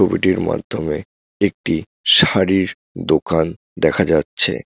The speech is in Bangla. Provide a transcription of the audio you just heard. ছবিটির মাধ্যমে একটি শাড়ির দোকান দেখা যাচ্ছে।